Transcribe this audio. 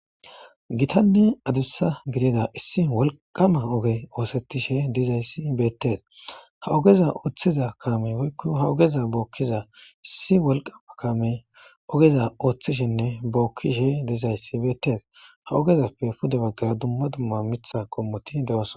Gitanne adussa gidida issi walqama oge oosettishe dizayssi beettes ha ogeza ooththiza kame woykko ha ogeza bookkiza issi walqama kame ogeza ooththishenne bookkishe dizayssi beettes ha ogezappe pude baggara dumma dumma mitha qommoti de7os.